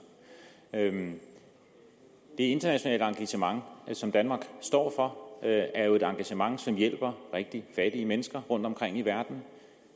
det internationale engagement som danmark står for er jo et engagement som hjælper rigtig fattige mennesker rundtomkring i verden